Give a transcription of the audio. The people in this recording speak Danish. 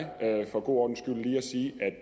for god ordens skyld lige at sige